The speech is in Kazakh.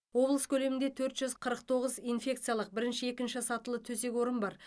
облыс көлемінде төрт жүз қырық тоғыз инфекциялық бірінші екінші сатылы төсек орын бар